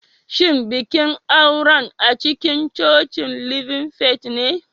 Shin bikin auren acikincocin living faith ne?